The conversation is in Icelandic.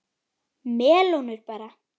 Melónur bara!